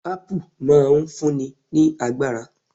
Apple' máa n fún ni ní agbára